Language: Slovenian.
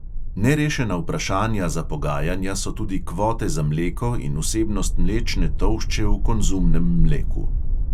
Nerešena vprašanja za pogajanja so tudi kvote za mleko in vsebnost mlečne tolšče v konzumnem mleku.